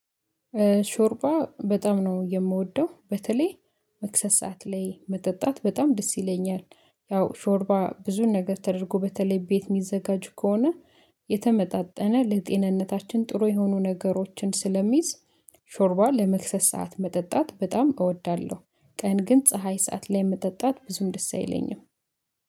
ሾርባ በጣም ነው የምወደው በተለይ መክሰስ ሰዓት ላይ መጠጣት በጣም ደስ ይለኛል። ያው ሾርባ ብዙን ነገር ተደርጎ በተለይ ቤት የሚዘጋጁ ከሆነ የተመጣጠነ ለጤንነታችን ጥሩ የሆኑ ነገሮችን ስለሚይዝ ሾርባ ለመክሰስ ሰዓት መጠጣት በጣም እወዳለሁ። ቀን ግን ፀሀይ ሰዓት ላይ የምጠጣት ብዙም ደስ አይለኝም።